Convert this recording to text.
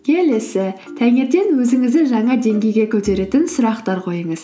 келесі таңертең өзіңізді жаңа деңгейге көтеретін сұрақтар қойыңыз